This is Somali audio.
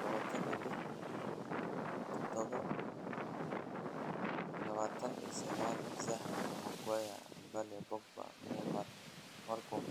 26.07.2019: Zaha, Maguire, Bale, Pogba, Neymar, Malcom